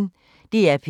DR P1